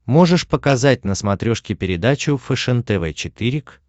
можешь показать на смотрешке передачу фэшен тв четыре к